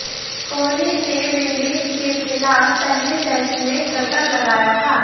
कोहली ने विंडीज के खिलाफ पहले टेस्ट में शतक लगाया था